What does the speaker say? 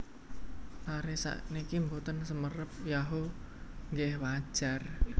Lare sakniki mboten semerap Yahoo nggeh wajar